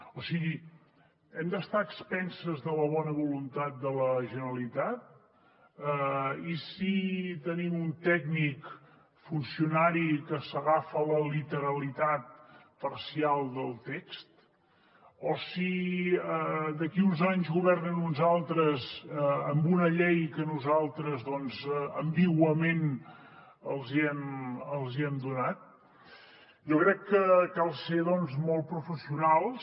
o sigui hem d’estar a expenses de la bona voluntat de la generalitat i si tenim un tècnic funcionari que s’agafa a la literalitat parcial del text o si d’aquí a uns anys governen uns altres amb una llei que nosaltres doncs ambiguament els hem donat jo crec que cal ser molt professionals